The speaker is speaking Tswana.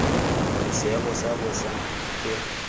gore seemo sa bosa ke